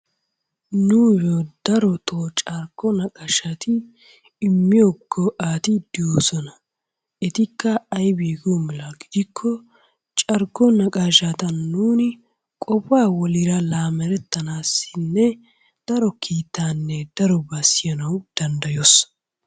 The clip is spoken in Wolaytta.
Nuuyyo darotoo carkko naqaashati immiyo ga"ayi doosona. Etikka aybee giyo mela gidikko carkko naqaashata nuuni qofaa woliira laamettanaassinne daro kiitaanne darobaa siyanawu danddayos.